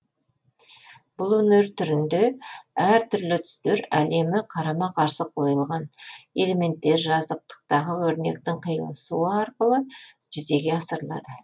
бұл өнер түрінде әр түрлі түстер әлемі қарама қарсы қойылған элементтер жазықтықтағы өрнектердің қиылысуы арқылы жүзеге асырылады